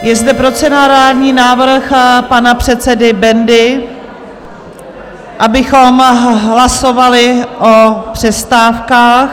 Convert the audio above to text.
Je zde procedurální návrh pana předsedy Bendy, abychom hlasovali o přestávkách.